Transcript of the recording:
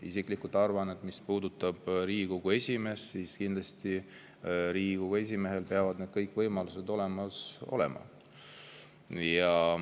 Isiklikult ma arvan, et Riigikogu esimehel peavad kindlasti kõik need võimalused olemas olema.